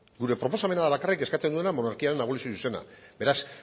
gure proposamena da bakarrik eskatzen duena monarkiaren abolizio zuzena beraz